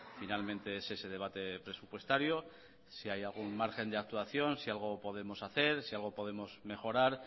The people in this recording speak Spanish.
finalmente es ese debate presupuestario si hay algún margen de actuación si algo podemos hacer si algo podemos mejorar